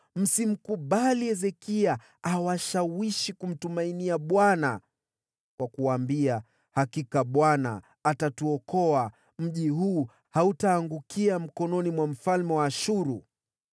Msikubali Hezekia awashawishi kumtumaini Bwana kwa kuwaambia, ‘Hakika Bwana atatuokoa. Mji huu hautaangukia mikononi mwa mfalme wa Ashuru.’